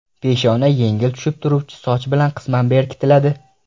Peshona yengil tushib turuvchi soch bilan qisman berkitiladi.